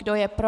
Kdo je pro?